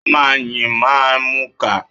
Ọmọ yín máa ń mù'ka.